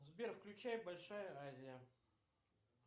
сбер включай большая азия